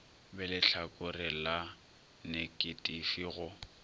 be lehlakore la neketifi go